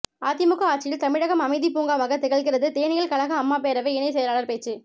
அதிமுக ஆட்சியில் தமிழகம் அமைதி பூங்காவாக திகழ்கிறது தேனியில் கழக அம்மா பேரவை இணை செயலாளர் பேச்சு